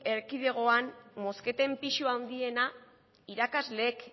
erkidegoan mozketen pisu handiena irakasleek